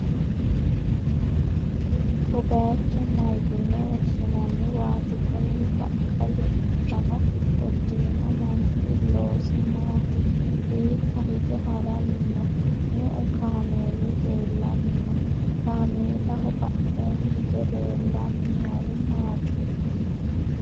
ko bayicho mayyiine woshshinanniwaati? kuni baqqala uddanno uddirino manchi loosi maati? hiikka hige ha'ranni no?me'u kaameeli leellanni no?kaameelaho badheenni hige leellanni noohu maati?